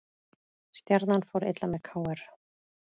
Stjarnan fór illa með KR